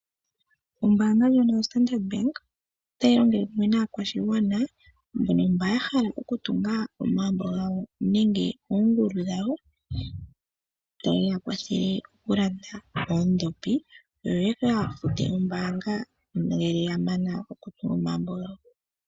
Ombaanga ndjono yoStandard Bank otayi longele kumwe naakwashigwana mbono ya hala okutunga omagumbo gawo nenge oongulu dhawo taye ya kwathele okulanda oondhopi yo ya ka fute ombaanga ngele ya mana okutunga omagumbo gawo.